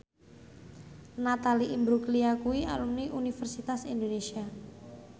Natalie Imbruglia kuwi alumni Universitas Indonesia